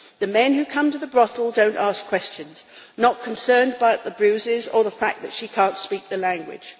The men who come to the brothel don't ask questions, not concerned about the bruises or the fact that she can't speak the language.